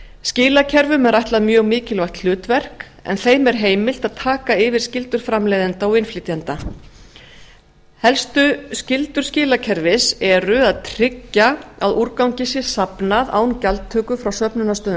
skilakerfum er ætlað mjög mikilvægt hlutverk en þeim er heimilt að taka yfir skyldur framleiðenda og innflytjenda helstu skyldur skilakerfis eru að tryggja að úrgangi sé safnað án gjaldtöku frá söfnunarstöðvum